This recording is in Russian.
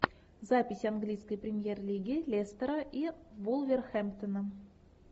запись английской премьер лиги лестера и вулверхэмптона